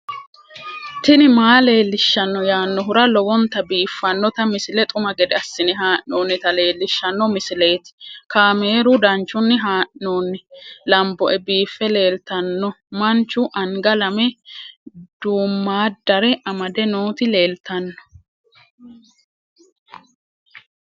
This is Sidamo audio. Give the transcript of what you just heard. tini maa leelishshanno yaannohura lowonta biiffanota misile xuma gede assine haa'noonnita leellishshanno misileeti kaameru danchunni haa'noonni lamboe biiffe leeeltanno manchu anga lame duummaaddare amade nooti leeltanno